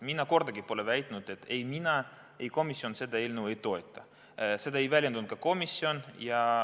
Mina pole kordagi väitnud, et ei mina ega komisjon seda eelnõu ei toeta, seda ei väljendanud ka komisjon.